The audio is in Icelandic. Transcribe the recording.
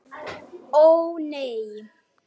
Það er ekki gefið.